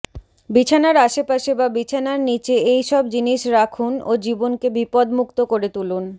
বিছানার আশেপাশে বা বিছানার নীচে এই সব জিনিস রাখুন ও জীবনকে বিপদমুক্ত করে তুলুন